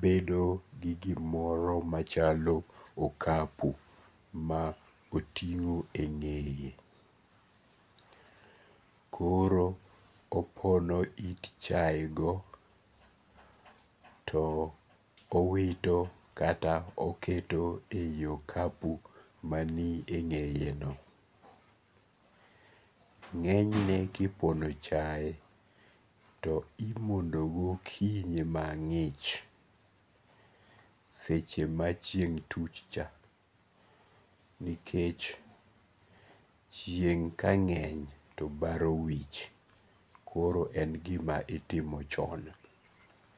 bedo gi gimoro machalo okapu ma otingo e nge'ye, koro opono chayego to owito kata oketo e okapu maniye nge'yeno, nge'nyne ka ipono chaye to imondo gokinyi mangi'ch seche machieng' tuchcha nikech chieng' kange'ny to baro wich koro en gima itimo chon.